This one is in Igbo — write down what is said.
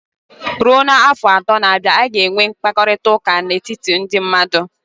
Ruo n'afọ atọ na-abịa, a ga-enwe mkparịta ụka n'etiti ndị mmadụ.